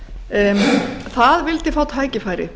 jú það vildi fá tækifæri